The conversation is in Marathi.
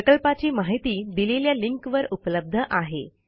प्रकल्पाची माहिती दिलेल्या लिंकवर उपलब्ध आहे